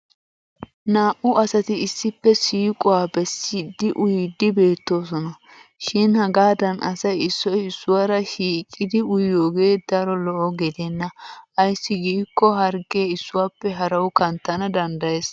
Naa'u asati issippe siiquwa bessiddi uyiiddi beettoosona. Shin hagaadan asay issoy issuwaara shiiqidi uyiyogee daro lo'o gideenna ayssi giikko harggee issuwappe harawu kanttana danddayes.